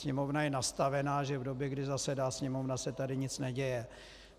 Sněmovna je nastavená, že v době, kdy zasedá Sněmovna, se tady nic neděje.